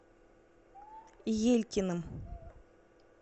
елькиным